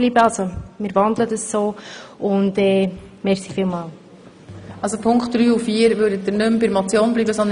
Der Regierungsantrag bezieht sich ja auf die einzelnen Ziffern.